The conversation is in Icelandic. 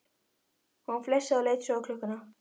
Hún flissaði, en leit svo á klukkuna.